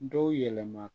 Dɔw yɛlɛma